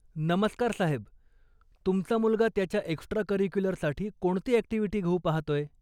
नमस्कार साहेब, तुमचा मुलगा त्याच्या एक्स्ट्रा करिक्युलरसाठी कोणती अॅक्टिव्हिटी घेऊ पाहतोय?